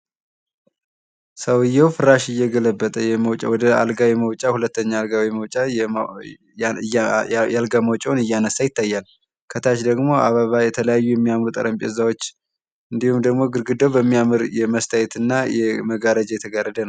ሰውየው ፍራሽ እየገለበጠ የመውጫ ወደአልጋ የመውጫ ሁለተኛ አልጋ የመውጫ የአልጋ መውጫውን እያነሳ ይታያል። ከታች ደሞ አበባ የተለያዩ የሚያምር ጠረጴዛዎች እንዲሁም ደግሞ ግድግዳው በሚያምር የመስታወት እና የመጋረጃ የተጋረደ ነው።